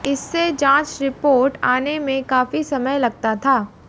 इससे जांच रिपोर्ट आने में काफी समय लगता था